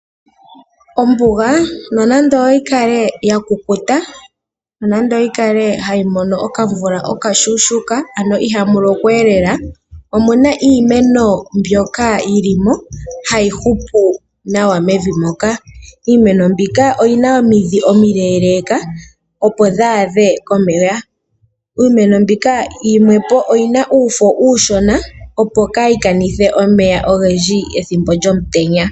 Ombuga nonando yikale ya kukuta . Nonando yikale hayi mono okamvula okashona ano ihamulokwa lela, omuna iimeno mbyoka yilimo hayi hupu nawa mevi moka . Iimeno mbika oyina omidhi omile opo dhi adhe komeya. Iimeno mbika yimwepo oyina uufo uushona opo kayi kanithe omeya ogendji ethimbo lyomutenya.